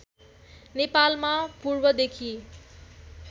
नेपालमा पूर्वदेखि